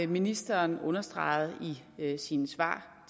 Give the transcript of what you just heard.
ministeren understreget i sine svar